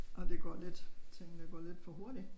Og det går lidt tingene går lidt for hurtigt